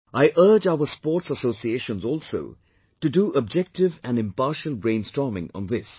I urge our sports associations also to do objective and impartial brainstorming on this